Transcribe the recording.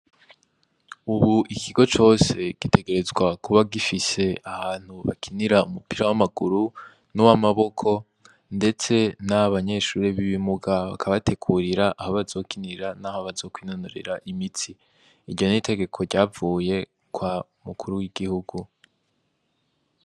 Ubu ikigo cose gitegerezwa kuba gifise ahantu bakinira umupira w'amaguru n'uwamaboko, ndetse n'abanyeshure b'ibimuga bakabategurira aho bazokinira naho bazokwinonorera imitsi, iryo n'itegeko ryavuye kwa mukuru w'igihugu.